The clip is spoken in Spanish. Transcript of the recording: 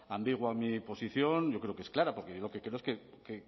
ambigua mi posición yo creo que es clara porque yo lo que